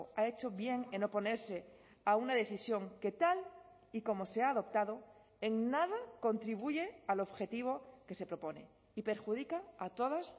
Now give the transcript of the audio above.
ha hecho bien en oponerse a una decisión que tal y como se ha adoptado en nada contribuye al objetivo que se propone y perjudica a todas